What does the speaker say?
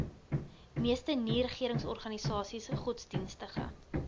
meeste nieregeringsorganisasies godsdienstige